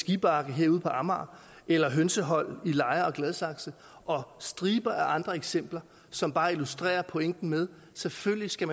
skibakke herude på amager eller hønsehold i lejre og gladsaxe og striber af andre eksempler som bare illustrerer pointen med at selvfølgelig skal